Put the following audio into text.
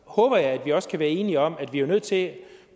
håber jeg at vi også kan være enige om at vi jo er nødt til